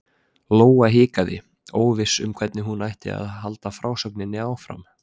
Lóa hikaði, óviss um hvernig hún ætti að halda frásögninni áfram.